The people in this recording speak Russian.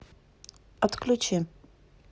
отключи